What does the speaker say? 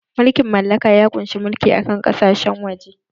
Mulkin mallaka ya ƙunshi mulki a kan ƙasashen waje